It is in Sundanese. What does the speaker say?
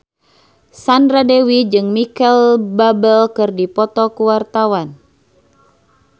Sandra Dewi jeung Micheal Bubble keur dipoto ku wartawan